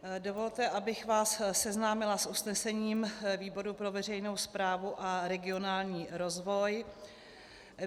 Dovolte, abych vás seznámila s usnesením výboru pro veřejnou správu a regionální rozvoj.